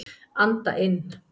Anda inn.